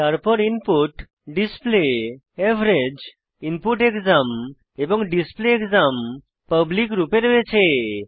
তারপর input display average input exam এবং display exam public function রূপে রয়েছে